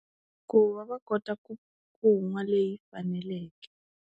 Ku va va kota ku, ku nwa leyi faneleke.